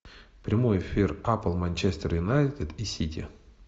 прямой эфир апл манчестер юнайтед и сити